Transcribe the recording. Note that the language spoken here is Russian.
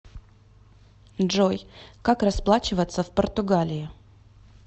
джой как расплачиваться в португалии